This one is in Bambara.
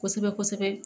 Kosɛbɛ kosɛbɛ